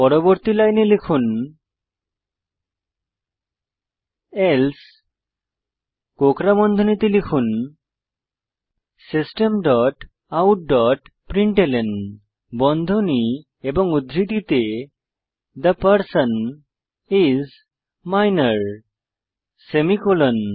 পরবর্তী লাইনে লিখুন এলসে কোঁকড়া বন্ধনীতে লিখুন system dot out dot println বন্ধনী এবং উদ্ধৃতিতে the person is minor semicolon